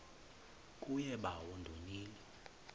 kuye bawo ndonile